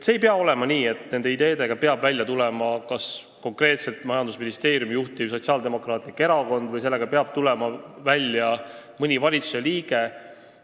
Ei pea olema nii, et nende ideedega peab välja tulema kas konkreetselt majandusministeeriumi juhtiv Sotsiaaldemokraatlik Erakond või mõni valitsusliige.